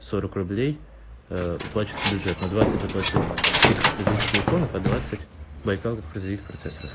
сорок рублей ээ уплачивается в бюджет но двадцать заплатил ты как производитель телефонов а двадцать байкал как производитель процессоров